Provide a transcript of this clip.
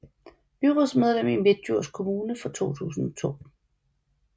Byrådsmedlem i Midtdjurs Kommune fra 2002